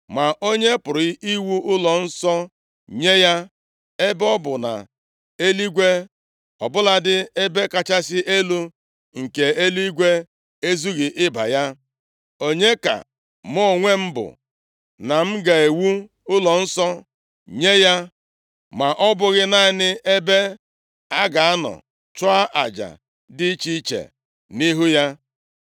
Ma onye pụrụ iwu ụlọnsọ nye ya, ebe ọ bụ na eluigwe, ọbụladị ebe kachasị elu nke eluigwe, ezughị ịba gị? Onye ka mụ onwe m bụ, na m ga-ewu ụlọnsọ nye ya, ma ọ bụghị naanị ebe a ga-anọ chụọ aja dị iche iche nʼihu ya?